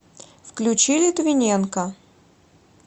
включи литвиненка